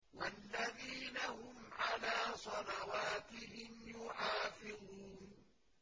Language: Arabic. وَالَّذِينَ هُمْ عَلَىٰ صَلَوَاتِهِمْ يُحَافِظُونَ